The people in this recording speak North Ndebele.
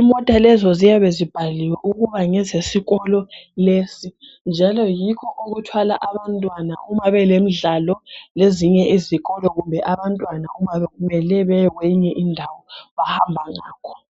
Imota lezo ziyabe zibhaliwe ukuba ngezesikolo lesi, njalo yikho okuthwala abantwana uma belemdlalo lezinye izikolo kumbe abantwana uma bemele beye kwenye indawo, bahamba ngakho.